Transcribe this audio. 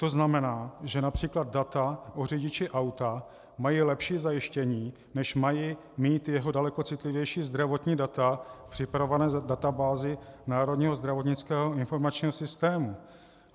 To znamená, že například data o řidiči auta mají lepší zajištění, než mají mít jeho daleko citlivější zdravotní data v připravované databázi Národního zdravotnického informačního systému.